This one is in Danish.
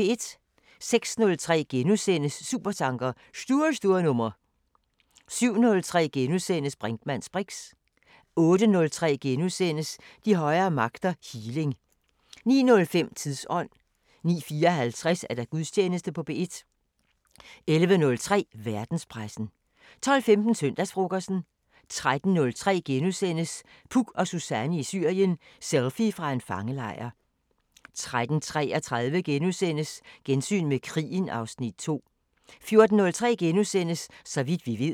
06:03: Supertanker: Stur, stur nummer * 07:03: Brinkmanns briks * 08:03: De højere magter: Healing * 09:05: Tidsånd: 09:54: Gudstjeneste på P1 11:03: Verdenspressen 12:15: Søndagsfrokosten 13:03: Puk og Suzanne i Syrien: Selfie fra en fangelejr * 13:33: Gensyn med krigen (Afs. 2)* 14:03: Så vidt vi ved *